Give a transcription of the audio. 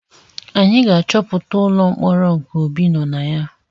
Anyị ga-achọpụta ụlọ mkpọrọ nke Obi nọ na ya